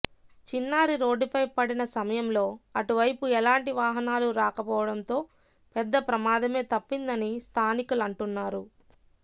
చిన్నారి రోడ్డుపై పడిన సమయంలో అటువైపు ఎలాంటి వాహనాలు రాకపోవడంతో పెద్ద ప్రమాదమే తప్పిందని స్థానికలంటున్నారు